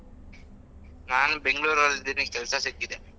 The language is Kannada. ನಾನು ಬೆಂಗ್ಳೂರಲ್ಲಿ ಇದ್ದೀನಿ ಕೆಲ್ಸ ಸಿಕ್ಕಿದೆ.